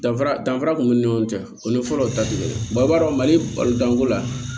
Danfara danfara b'u ni ɲɔgɔn cɛ o ni fɔlɔ ta ti kɛ o b'a dɔn mali balo danko la